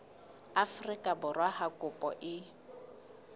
afrika borwa ha kopo e